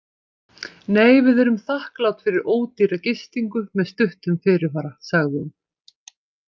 Nei, við erum þakklát fyrir ódýra gistingu með stuttum fyrirvara, sagði hún.